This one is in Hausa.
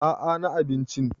a a na abinci